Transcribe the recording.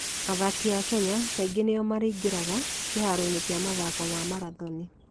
Athaki a Kenya kaingĩ nĩo maraingĩra kĩharoinĩ kĩa mathako ma marathoni.